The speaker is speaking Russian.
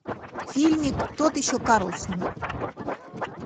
фильмик тот еще карлсон